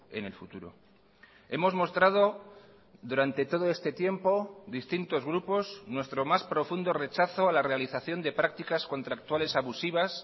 en el futuro hemos mostrado durante todo este tiempo distintos grupos nuestro más profundo rechazo a la realización de prácticas contractuales abusivas